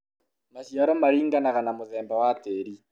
maciaro maringanaga na mũthemba wa tĩri